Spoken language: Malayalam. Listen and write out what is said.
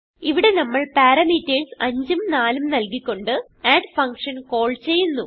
ഇവിടെ നമ്മൾ പാരാമീറ്റർസ് 5 ഉം 4 ഉം നല്കി കൊണ്ട് അഡ് ഫങ്ഷൻ കാൾ ചെയ്യുന്നു